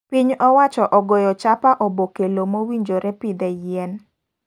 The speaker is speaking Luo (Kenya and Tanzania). Piny owacho ogoyo chapa oboke loo mowinjore pidhe yien.